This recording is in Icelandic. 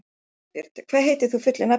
Dagbjört, hvað heitir þú fullu nafni?